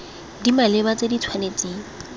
di maleba tse di tshwanetseng